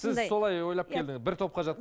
сіз солай ойлап келдің бір топқа